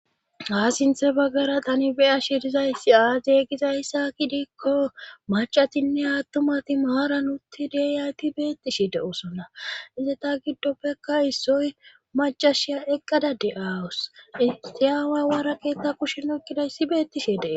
ha sinthe baggara tani beya shirizayssi aaze gizayssaa gidiikko macatinne aattumati maaran utti dyayti beettishe de7osona inte ta giddoppekka issoy macashiya eqqada de7aawus itiyaawawara keetta kushenokkidayssi beettishe dee